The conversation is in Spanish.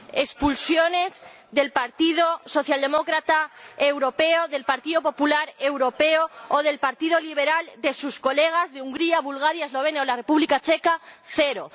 Expulsiones del Partido Socialdemócrata Europeo, del Partido Popular Europeo o del Partido Liberal de sus colegas de Hungría, Bulgaria, Eslovenia o la República Checa cero.